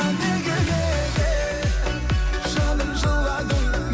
неге неге жаным жыладың